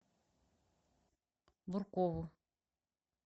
буркову